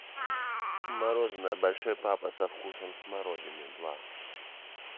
мороженое большой папа со вкусом смородины два